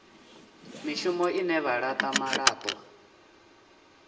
mishumo ine vha laṱa malaṱwa